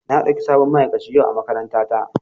An ɗauki sabon ma'aikaci yau a makarantata.